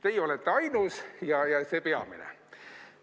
Teie olete ainus ja see peamine.